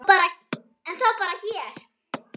Eða þá bara hér.